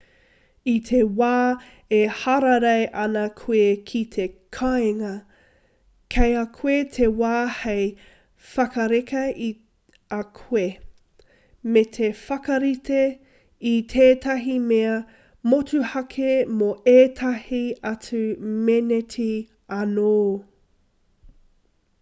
i te wā e hararei ana koe ki te kāinga kei a koe te wā hei whakareka i a koe me te whakarite i tētahi mea motuhake mō ētahi atu meneti anō